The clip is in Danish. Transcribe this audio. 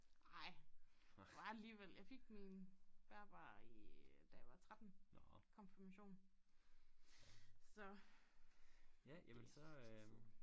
Ej det var alligevel jeg fik min bærbar i da jeg var 13 konfirmation så det et stykke tid siden